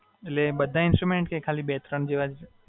એટલે બધા instruments કે ખાલી બે-ત્રણ જેવા જ?